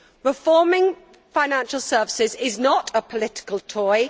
Reforming financial services is not a political toy.